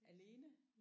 Alene